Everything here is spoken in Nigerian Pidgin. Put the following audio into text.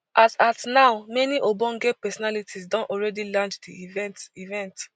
as at now many ogbonge personalities don already land di event event